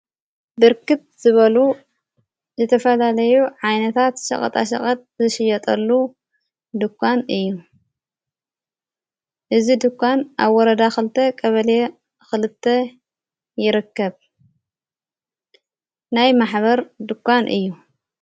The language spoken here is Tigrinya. ብርክት ዝበሉ ዘተፈላለዮ ዓይነታት ሸቐጣሸቐት ዝሽየጠሉ ድኳን እዩ እዝ ድኳን ኣብ ወረዳ ኽልተ ቀበልየ ኽልተ ይረከብ ናይ ማኅበር ድኳን እዩ።